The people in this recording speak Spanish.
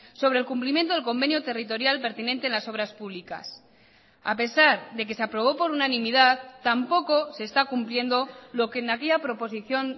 sobre el cumplimiento del convenio territorial pertinente en las obras públicas a pesar de que se aprobó por unanimidad tampoco se está cumpliendo lo que en aquella proposición